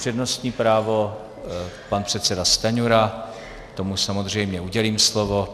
Přednostní právo pan předseda Stanjura, tomu samozřejmě udělím slovo.